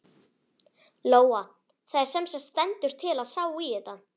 Lóa: Það semsagt stendur til að sá í þetta?